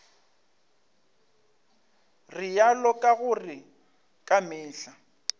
realo ka gore ka mehla